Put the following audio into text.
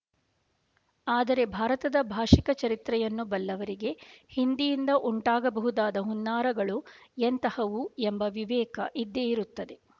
ಆದರೆ ಭಾರತದ ಭಾಷಿಕ ಚರಿತ್ರೆಯನ್ನು ಬಲ್ಲವರಿಗೆ ಹಿಂದಿಯಿಂದ ಉಂಟಾಗಬಹುದಾದ ಹುನ್ನಾರಗಳು ಎಂತಹವು ಎಂಬ ವಿವೇಕ ಇದ್ದೇ ಇರುತ್ತದೆ